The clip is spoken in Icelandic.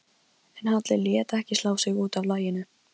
En Halli lét ekki slá sig út af laginu.